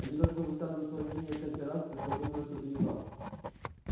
они только высказывают своё мнение всякий раз когда думают что ты не прав